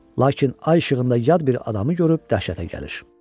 Lakin ay işığında yad bir adamı görüb dəhşətə gəlir.